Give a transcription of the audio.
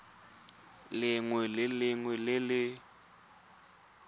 lengwe le lengwe le le